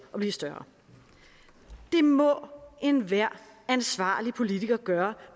at blive større det må enhver ansvarlig politiker gøre